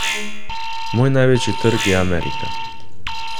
Moj največji trg je Amerika.